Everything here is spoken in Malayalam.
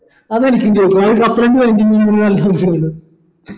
അതാ എനിക്കും ചോയ്ക്കാനുള്ളേ